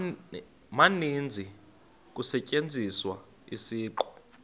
maninzi kusetyenziswa isiqu